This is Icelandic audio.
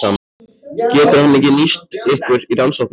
Getur hann ekki nýst ykkur í rannsókninni?